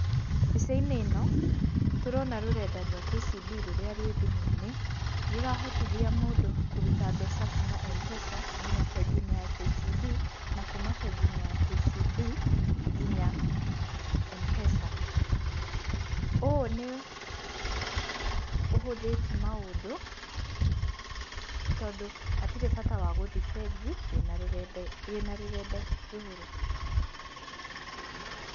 Mbica-inĩ ĩno, tũrona rũrenda rwa KCB rũrĩa rwĩ thimũ-inĩ, rũrahotithia mũndũ kũruta mbeca kuma M-Pesa nginya bengi-inĩ ya KCB, na kuma bengi-inĩ ya KCB, nginya, M-Pesa. Ũũ nĩ, ũhũthĩtie maũndũ, tondũ hatirĩ bata wa gũthiĩ bengi, wĩna rũrenda wĩna rũrenda rũrũ.